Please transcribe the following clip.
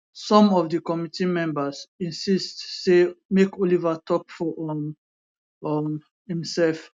some of di committee members insist say make oliver tok for um um imserf